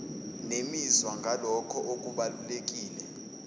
nemizwa ngalokho okubalulekile